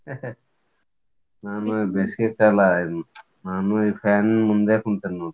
ನಾನ್ ಬೇಸಿಗೆ ಕಾಲಾ ನಾನು fan ನ್ ಮುಂದೆ ಕುಂತಿನೋಡ್ರಿ.